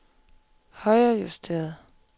højrejusteret